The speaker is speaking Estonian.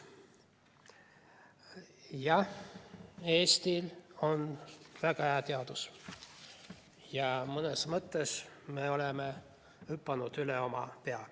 Jah, Eestil on väga hea teadus ja mõnes mõttes me oleme hüpanud üle oma pea.